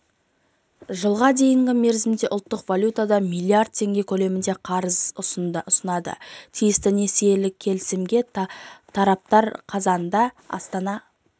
жылға дейінгі мерзімге ұлттық валютада миллиард теңге көлемінде қарыз ұсынады тиісті несиелік келісімге тараптар қазанында астана